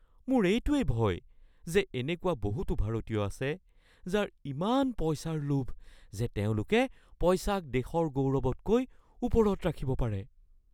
মোৰ এইটোৱেই ভয় যে এনেকুৱা বহুতো ভাৰতীয় আছে যাৰ ইমান পইচাৰ লোভ যে তেওঁলোকে পইচাক দেশৰ গৌৰৱতকৈ ওপৰত ৰাখিব পাৰে।